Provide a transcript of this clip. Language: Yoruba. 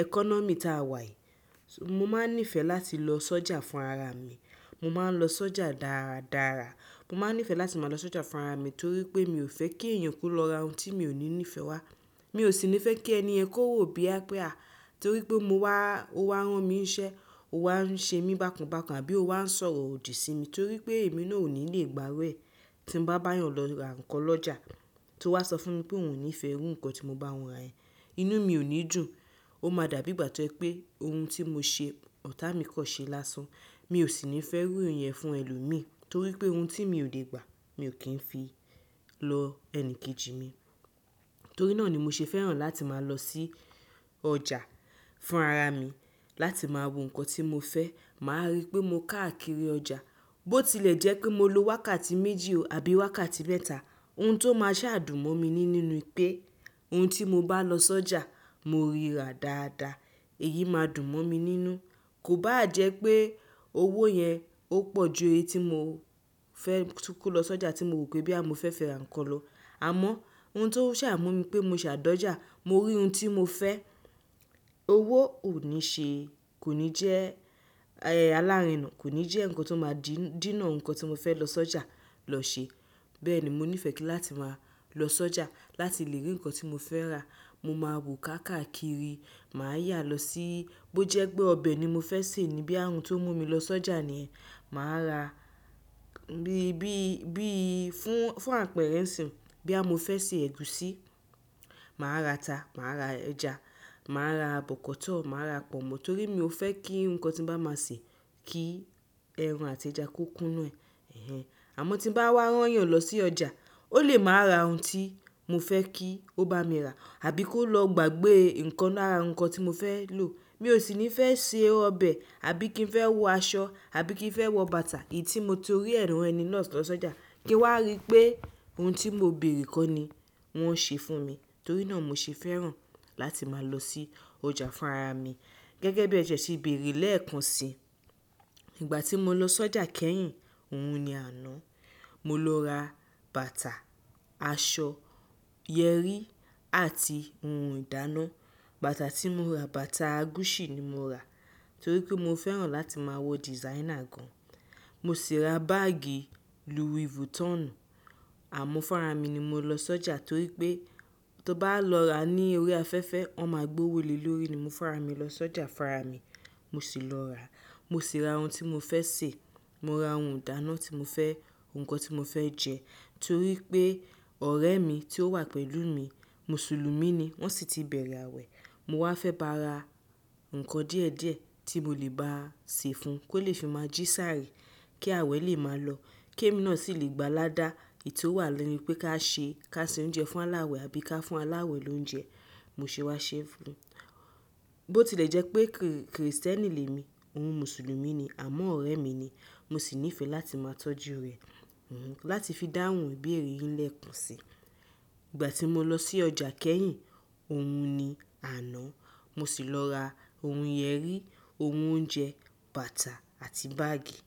ẹkọ́nọ́mì tá a wà yìí. Mo máa ń nífẹ̀ẹ́ láti lọ sọ́jà fún ara mi. Mo máa ń lọ sọ́jà dára dára. Mo máa ń nífẹ̀ẹ́ láti máa lọ sọ́jà fún ara mi torí pé mi ò fẹ́ kí èèyàn ko lọ ra ohun tí mi ò ní nífẹ̀ẹ́ wá. Mi ò sì ní fẹ́ kí ẹni yen ki o wó boya pé àá torí pé mo wá, ó wá rán mi iṣẹ́, ó wá ń ṣe mí bákan bákan àbí ó wá ń sọ̀rọ̀ òdì sí mi torí pé èmi náà ò ní lè gbá iru ẹ́. Tí mo bá bá a yàn lọ ra nǹkan lọ́jà, tó wá sọ fún mi pé òun ò ní fẹ́ iru nǹkan tí mo bá wọn ra, yẹ́n inú mi ò ní dùn. Ó máa dàbí ìgbà tó jẹ pé ohun tí mo ṣe, ọ̀tá mi kan ṣee lásán. Mi ò sì ní fẹ́ rí ohun ìyẹn fún ẹlòmíí torí pé ohun tí mi ò lè gbà, mi ò kí ń fi lọ ẹni kejì mi. Torí náà ni mo ṣe fẹ́ràn láti máa lọ sí ọjà fún ara mi láti máa wo nǹkan tí mo fẹ́. Máa rí pé mo káàkiri ọjà. Bó tilẹ̀ jẹ́ pé mo lo wákàtí méjì o àbí wákàtí mẹ́ta, ohun tó máa ṣàdùn mó mi ní nínú pé ohun tí mo bá lọ sọ́jà mo rí ra dáadáa. Èyí máa dùn mó mi nínú. Kò bá à jẹ́ pé owó yẹn ó pọ̀ ju èeye tí mo fẹ́ tún ko lọ sọ́jà tí mo rò pé boyà mo fẹ́ fi ra nǹkan lọ. Àmọ́ ohun tó ń ṣà mú mi pé mo ṣàdójá, mo rí ohun tí mo fẹ́. Owó ò ní ṣe, kò ní jẹ́ ayẹyẹ alárinà, kò ní jẹ́ nǹkan tó máa dìí, dínà ohun kan tí mo fẹ́ lọ sọ́jà lọ ṣe. Bẹ́ẹ̀ ni mo nífẹ̀ẹ́ kí láti máa lọ sọ́jà láti lè rí nǹkan tí mo fẹ́ rà. Mo máa wò káàkiri, màá yà lọ síí, bó jẹ́ pé ọbẹ̀ ni mo fẹ́ sè ní boya ohun tó mú mi lọ sọ́jà ní, màá ra bí, bí, bí i fún, fún àpẹẹrẹ ń sìn. Boyà mo fẹ́ sè ẹ̀gúsí, màá ra ata, màá ra ẹja, màá ra bọ̀kọ́tọ̀, màá ra pọ̀nmọ́ torí mi ò fẹ́ kí nǹkan tí mo bá máa sè kí ẹran àti ẹja kó kún nú ẹ̀. Èhèn. Àmọ́ tí ń bá wá rán èèyàn lọ sí ọjà, ó lè máa ra ohun tí mo fẹ́ kí ó bá mi rà àbí kó lọ gbàgbé nǹkan lára nǹkan tí mo fẹ́ lò. Mi ò sì ní fẹ́ sè ọbẹ̀ àbí kí n fẹ́ wọ aṣọ àbí kí n fẹ́ wọ bàtà èyí tí mo ti rí ẹ ran ẹni náà lọ́jà, kí wá rí pé ohun tí mo béèrè kó ni wọ́n ṣe fún mi. Torí náà mo ṣe fẹ́ràn láti máa lọ sí ọjà fún ara mi. Gẹ́gẹ́ bí ẹ tiẹ́ ṣe béèrè lẹ́ẹ̀kan sí i. Nígbà tí mo lọ sọ́jà kẹ́yìn, ohun ni àaná, mo lọ ra bàtà, aṣọ, yẹrí àti ohun ìdáná. Bàtà tí mo ra, bàtà Gucci ni mo ra torí pé mo fẹ́ràn láti máa wọ designer gan. Mo sì ra báágì Louis Vuitton. Àmọ́ fúnra mi ni mo lọ sọ́jà torí pé tó bá lọ ra ní orí afẹ́fẹ́, wọ́n máa gbé owó lé lórí ni mo fúnra mi lọ sọ́jà fún ara mi. Mo sì lọ rà. Mo sì ra ohun tí mo fẹ́ sè, mo ra ohun ìdáná tí mo fẹ́, nǹkan tí mo fẹ́ jẹ torí pé ọ̀rẹ́ mi tí ó wà pẹ̀lú mi, Mùsùlùumí ni, wọ́n sì ti bẹ̀rẹ̀ àwẹ̀. Mo wá fẹ́ ba ra nǹkan díẹ̀ díẹ̀ tí mo lè bá a sè fún, kó lè fi máa jí sáàrè kí àwẹ̀ lè máa lọ, kí èmi náà sì lè gbá aládàá. Èyí tó wà lórí pé ká ṣe, ká ṣe oúnjẹ fún aláwẹ̀ àbí ká fún aláwẹ̀ lóúnjẹ. Mo ṣe wá ṣe fún. Bó tilẹ̀ jẹ́ pé Krì, Krìstẹ́nì lè mi, òun Mùsùlùmí ni, àmọ́ ọ̀rẹ́ mi ni. Mo sì nífẹ̀ẹ́ láti máa tọ́jú rẹ̀. Òun láti fi dáhùn ìbéèrè yín lẹ́ẹ̀kan sí i. Nígbà tí mo lọ sí ọjà kẹ́yìn, ohun ni àná, mo sì lọ ra ohun ìyẹ́rí, ohun oúnjẹ, bàtà àti báágì. Ẹ.